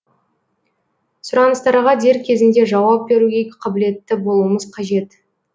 сұраныстарға дер кезінде жауап беруге қабілетті болуымыз қажет